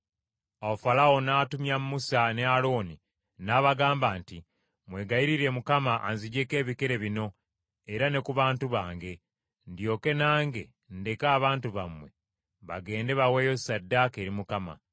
Awo Falaawo n’atumya Musa ne Alooni n’abagamba nti, “Mwegayirire Mukama anziggyeeko ebikere bino era ne ku bantu bange, ndyoke nange ndeke abantu bammwe bagende baweeyo ssaddaaka eri Mukama .”